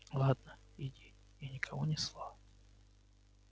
ладно иди и никому ни слова